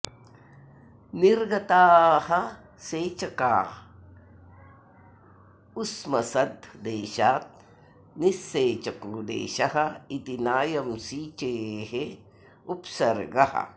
निर्गताः सेचका उस्मसद् देशात् निःसेचको देशः इति नायं सिचेः उप्सर्गः